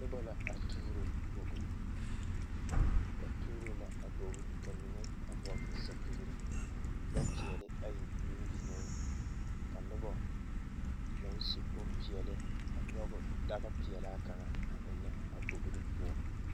Nobɔ la a tuuro bogi ba tuuro la a bogi ka mine a vɔgle sɛpigre lɔ peɛle ayi meŋ biŋeeŋ ka nobɔ naŋ su bonpeɛɛle a nyoge dagpeɛlaa kaŋ a eŋnɛ a bogre poɔŋ.